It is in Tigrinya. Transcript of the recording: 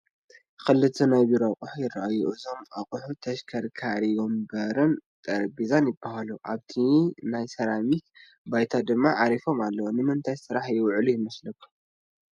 ክልተ ናይ ቢሮ ኣቑሑት ይራኣዩ፡፡ እዞም ኣቑሑት ተሽከርካሪ ወንበርን ጠረጼዛን ይባሃሉ፡፡ ኣብቲ ናይ ሰራሚክ ባይታ ድማ ዓሪፎም ኣለው፡፡ ንምንታይ ስራሕ ይውዕሉ ይመስለኩም?